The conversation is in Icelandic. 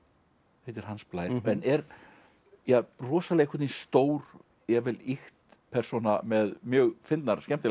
heitir Hans Blær en er rosalega stór jafnvel ýkt persóna með mjög fyndnar og skemmtilegar